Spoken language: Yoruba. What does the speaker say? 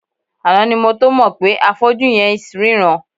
Àná ni mo tó mọ̀ pé afọ́jú yẹn ls ríran.